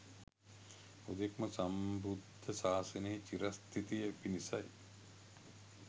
හුදෙක්ම සම්බුද්ධ සාසනයේ චිරස්ථිතිය පිණිසයි.